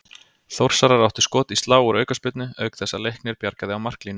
Þórsarar áttu skot í slá úr aukaspyrnu auk þess að Leiknir bjargaði á marklínu.